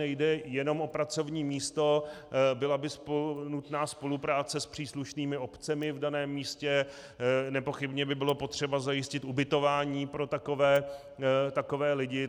Nejde jen o pracovní místo, byla by nutná spolupráce s příslušnými obcemi v daném místě, nepochybně by bylo potřeba zajistit ubytování pro takové lidí.